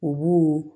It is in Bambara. U b'u ye